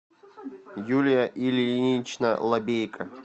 юлия ильинична лабейко